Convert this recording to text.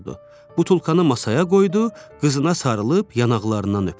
Butulkanı masaya qoydu, qızına sarılıb yanaqlarından öpdü.